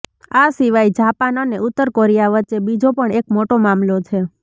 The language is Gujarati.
આ સિવાય જાપાન અને ઉત્તર કોરિયા વચ્ચે બીજો પણ એક મોટો મામલો છે